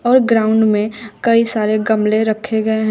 और ग्राउंड में कई सारे गमले रखे गए हैं।